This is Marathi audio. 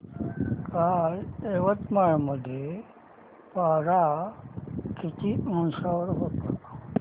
काल यवतमाळ मध्ये पारा किती अंशावर होता